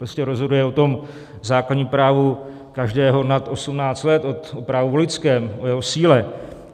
Prostě se rozhoduje o tom základním právu každého nad 18 let, o právu voličském, o jeho síle.